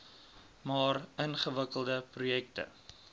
maar ingewikkelde projekte